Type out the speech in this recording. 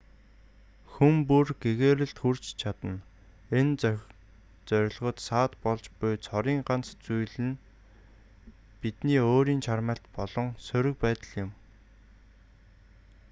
хүн бүр гэгээрэлд хүрч чадна энэ зорилгод саад болж буй цорын ганц зүйл нь бидний өөрийн чармайлт болон сөрөг байдал юм